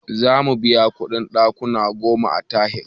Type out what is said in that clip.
Zamu biya kuɗin ɗakuna goma a tahir